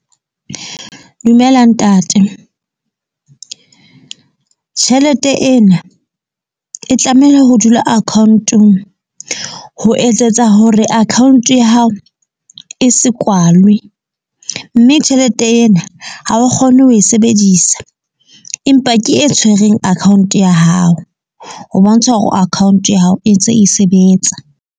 Dumela ntate. Tjhelete ena e tlameha ho dula account-ong ho etsetsa hore account ya hao e se kwalwe. Mme tjhelete ena ha o kgone ho e sebedisa. Empa ke e tshwereng account ya hao, o bontsha hore account ya hao e ntse e sebetsa.